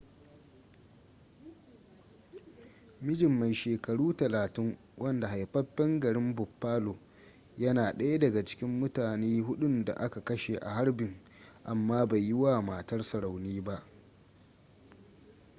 mijin mai shekaru 30 wanda haifaffen garin buffalo yana daya daga cikin mutane hudun da aka kashe a harbin amma bai yi wa matarsa rauni ba